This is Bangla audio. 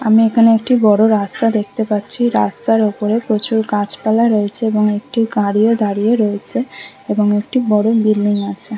আমি এখানে একটি বড়ো রাস্তা দেখতে পাচ্ছি রাস্তার ওপরে প্রচুর গাছপালা রয়েছে এবং একটি গাড়িও দাঁড়িয়ে রয়েছে এবং একটি বড়ো বিল্ডিং আছে ।